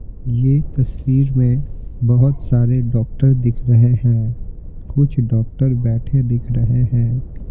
ये तस्वीर में बहोत सारे डॉक्टर दिख रहे हैं कुछ डॉक्टर बैठे दिख रहे हैं।